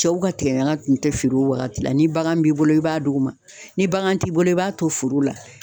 Cɛw ka tigɛ ɲaga tun tɛ feere o wagati la ni bagan b'i bolo i b'a d'o ma ni bagan t'i bolo e b'a to foro la